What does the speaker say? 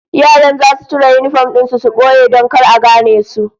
Yaran zasu cire yinifom din su su boye don kar a gane su